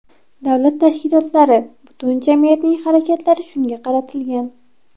Davlat tashkilotlari, butun jamiyatning harakatlari shunga qaratilgan.